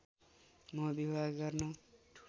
म विवाह गर्न